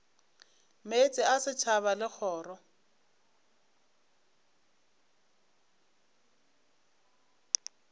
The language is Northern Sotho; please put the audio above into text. meetse a setšhaba le kgoro